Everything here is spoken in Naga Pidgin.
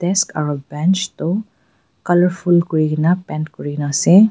desk aro bench toh colourful kurikaena paint kurina ase.